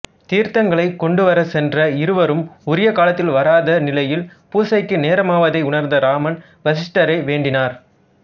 தீர்த்தங்களைக் கொண்டுவரச் சென்ற இருவரும் உரிய காலத்தில் வராத நிலையில் பூசைக்கு நேரமாவதை உணர்ந்த இராமன் வசிட்டரை வேண்டினார்